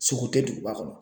Sogo tɛ duguba kɔnɔ.